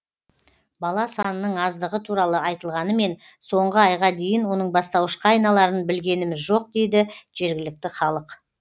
бала санының аздығы туралы айтылғанымен соңғы айға дейін оның бастауышқа айналарын білгеніміз жоқ дейді жергілікті халық